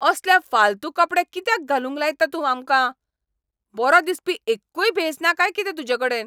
असले फालतू कपडे कित्याक घालूंक लायता तूं आमकां? बरो दिसपी एक्कूय भेस ना काय कितें तुजेकडेन?